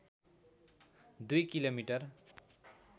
२ kilo metre